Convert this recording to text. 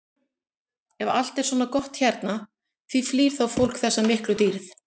Ef allt er svona gott hérna, því flýr þá fólk þessa miklu dýrð?